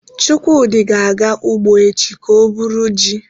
Chukwudi ga-aga ugbo echi ka o buru ji